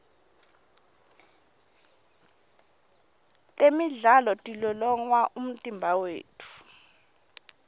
temidlalo tilolonga umtimba wetfu